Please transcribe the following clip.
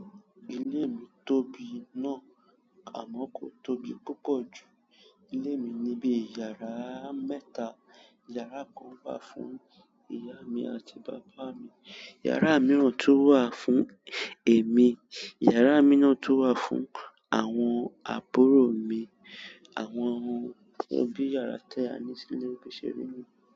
Ilé mi tóbi náà, àmọ́ kò tóbi púpọ̀ ju ilé mi ní bi yàrá mẹ́ta. Yàrá kan wà fún ìyá mi àti bàbá mi, yàrá mìíràn tó wà fún èmi, yàrá mìíràn tó wà fún àwọn àbúrò mi. Àwọn ohun tí ó bí yàrá tẹ́ a ní sílé ò ṣe rí ni.